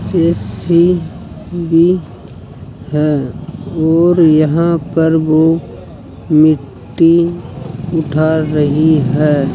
JCB है और यहां पर वो मिट्टी उठा --